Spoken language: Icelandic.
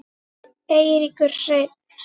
Eiríkur Hreinn.